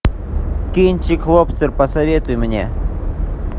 кинчик лобстер посоветуй мне